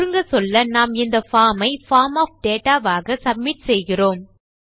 சுருங்கச்சொல்ல நாம் இந்த பார்ம் ஐ பார்ம் ஒஃப் டேட்டா ஆக சப்மிட் செய்கிறோம்